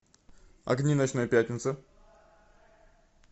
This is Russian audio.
огни ночной пятницы